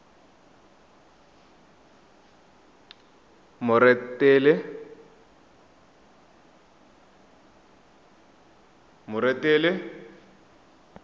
moretele